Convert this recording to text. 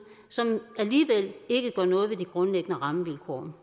som alligevel ikke gør noget ved de grundlæggende rammevilkår